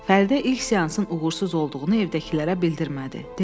Fəridə ilk seansın uğursuz olduğunu evdəkilərə bildirmədi, dedi: